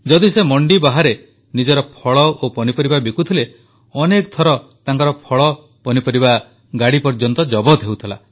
ଯଦି ସେ ମଣ୍ଡି ବାହାରେ ନିଜର ଫଳ ଓ ପନିପରିବା ବିକୁଥିଲେ ଅନେକ ଥର ତାଙ୍କର ଫଳ ପନିପରିବା ଗାଡ଼ି ପର୍ଯ୍ୟନ୍ତ ଜବତ ହେଉଥିଲା